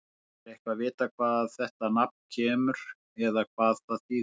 Er eitthvað vitað hvaðan þetta nafn kemur eða hvað það þýðir?